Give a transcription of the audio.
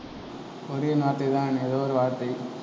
Korean வார்த்தை தான் ஏதோ ஒரு வார்த்தை